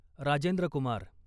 Rajendra Kumar